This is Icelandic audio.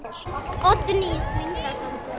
Oddný þvingar fram bros.